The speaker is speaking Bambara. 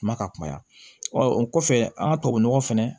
Kuma ka kumaya o kɔfɛ an ka tubabunɔgɔ fɛnɛ